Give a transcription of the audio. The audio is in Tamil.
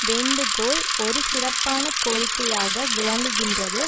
வேண்டுகோள் ஒரு சிறப்பான கோரிக்கையாக விளங்குகின்றது